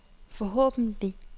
forhåbentlig